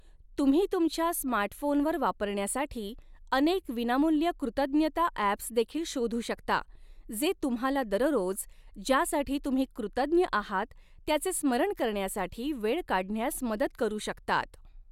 तुम्ही तुमच्या स्मार्टफोनवर वापरण्यासाठी अनेक विनामूल्य कृतज्ञता ॲप्स देखील शोधू शकता, जे तुम्हाला दररोज, ज्यासाठी तुम्ही कृतज्ञ आहात त्याचे स्मरण करण्यासाठी वेळ काढण्यास मदत करू शकतात.